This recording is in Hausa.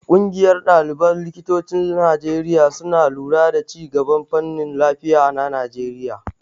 Ƙungiyar ɗaliban likitocin Najeriya suna lura da ci gaban fannin lafiya na Najeriya.